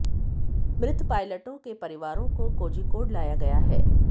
मृत पायलटों के परिवारों को कोझिकोड लाया गया है